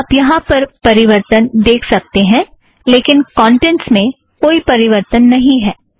आप यहाँ पर परिवर्तन देख सकते हैं लेकिन कौंटेंट्स में कोई परिवर्तन नहीं है